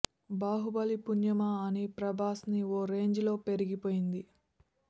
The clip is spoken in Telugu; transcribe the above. బాహుబలి పుణ్యమా అని ప్రభాస్ ని ఓ రేంజ్ లో పెరిగిపోయింది